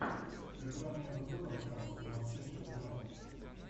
игра между тоттенхэмом и манчестер юнайтед